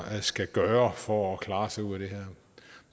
skal gøre for at klare sig ud af det her